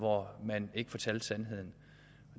hvor man ikke fortalte sandheden